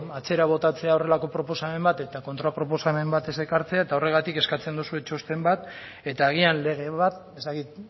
atzera botatzea horrelako proposamen bat eta kontraproposamen bat ez ekartzea eta horregatik eskatzen duzue txosten bat eta agian lege bat ez dakit